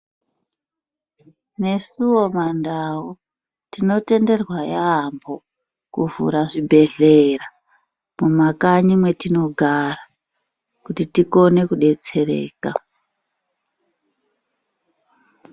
Nesuwo mandau tinotenderwa yaambho kuvhura zvibhedhlera mumakanyi metinogara kuti tikone kudetsereka.